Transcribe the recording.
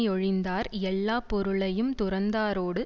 யொழிந்தார் எல்லா பொருளையுந் துறந்தாரோடு